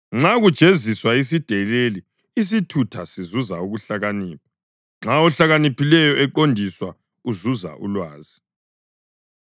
Nxa kujeziswa isideleli isithutha sizuza ukuhlakanipha; nxa ohlakaniphileyo eqondiswa uzuza ulwazi.